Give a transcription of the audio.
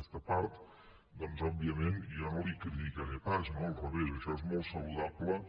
aquesta part doncs òbviament jo no la hi criticaré pas no al revés això és molt saludable